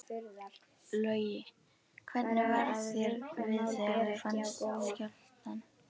Logi: Hvernig var þér við þegar þú fannst skjálftann?